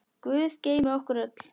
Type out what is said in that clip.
Guð geymi ykkur öll.